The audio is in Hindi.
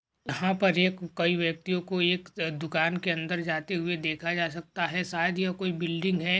यहाँ पर एक कई व्यक्तियों को एक दुकान के अंदर जाते हुए देखा जा सकता है शायद ये कोई बिल्डिंग है।